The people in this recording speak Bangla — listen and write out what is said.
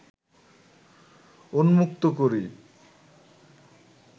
উন্মুক্ত করি